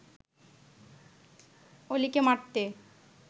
অলিকে মারতে